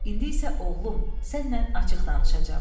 İndi isə, oğlum, sənnən açıq danışacam.